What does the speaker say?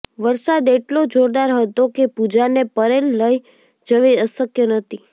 વરસાદ એટલો જોરદાર હતો કે પૂજાને પરેલ લઈ જવી અશક્ય નહોતી